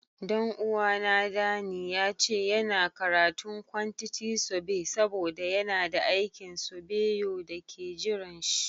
Dan uwa na, Danny, ya ce yana karatun kwantiti sobe saboda yana da aikin sobeyo da ke jiran shi.